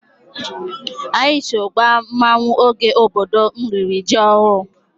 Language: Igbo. Anyị so gbaa mmanwụ oge obodo m riri ji ọhụrụ.